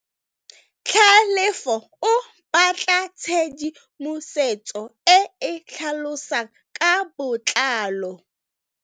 Tlhalefô o batla tshedimosetsô e e tlhalosang ka botlalô.